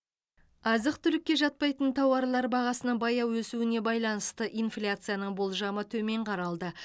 азық түлікке жатпайтын тауарлар бағасының баяу өсуіне байланысты инфляцияның болжамы төмен қаралды